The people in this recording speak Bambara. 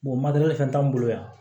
matɛrɛli fɛn t'anw bolo yan